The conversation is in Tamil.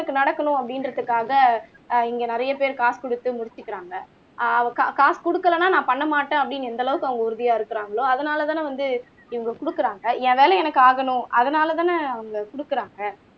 நடக்கணும் அப்படிங்குறதுக்காக ஆஹ் இங்க நிறைய பேர் காசு குடுத்து முடிச்சுக்குறாங்க ஆஹ் அது காஸ் குடுக்கல்லன்னா நான் பண்ணமாட்டேன் அப்படின்னு எந்த அளவுக்கு அவங்க உறுதியா இருக்குறாங்களோ அதனாலதானே வந்து இவங்க குடுகுறாங்க என் வேலை எனக்கு ஆகணும் அதனாலதானே அவங்க குடுக்குறாங்க